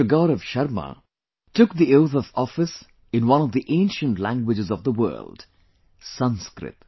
Gaurav Sharma took the Oath of office in one of the ancient languages of the world Sanskrit